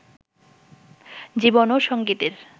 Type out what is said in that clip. জীবন ও সঙ্গীতের